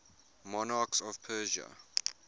monarchs of persia